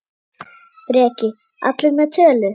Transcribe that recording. Breki: Allir með tölu?